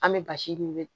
An bɛ basi ɲimin